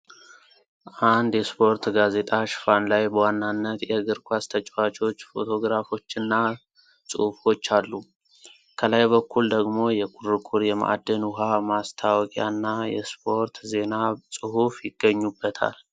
አንድ የስፖርት ጋዜጣ ሽፋን ላይ በዋናነት የእግር ኳስ ተጫዋቾች ፎቶግራፎችና ጽሑፎች አሉ። ከላይ በኩል ደግሞ የኩርኩር የማዕድን ውሃ ማስታወቂያና የስፖርት ዜና ጽሑፍ ይገኙበታል።